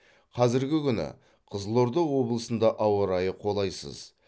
қазіргі күні қызылорда облысында ауа райы қолайсыз